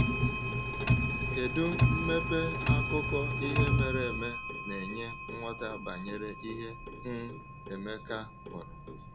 Kedu mmepe akụkọ ihe mere eme na-enye nghọta banyere ihe um Emeka hụrụ?